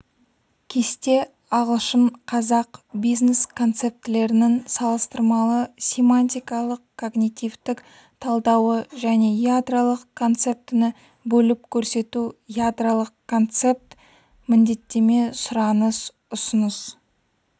кесте ағылшын-қазақ бизнес-концептілерінің салыстырмалы семантикалық-когнитивтік талдауы және ядролық концептіні бөліп көрсету ядролық концепт міндеттеме сұраныс ұсыныс